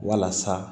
Walasa